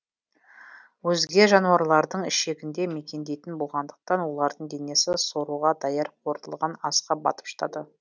өзге жануарлардың ішегінде мекендейтін болғандықтан олардың денесі соруға даяр қорытылған асқа батып жатады